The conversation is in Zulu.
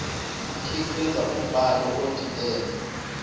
khiqiza umbhalo odidene